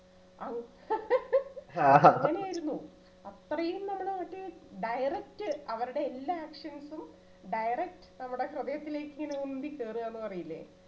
അങ്ങനെയായിരുന്നു അത്രയും നമ്മള് മറ്റേ direct അവരുടെ എല്ലാ actions ഉം direct നമ്മുടെ ഹൃദയത്തിലേക്കിങ്ങനെ ഉന്തി കേറുകന്നു പറയില്ലേ